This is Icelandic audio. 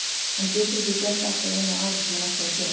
Hann getur ekki gert allt á einu ári sem hann ætlar að gera.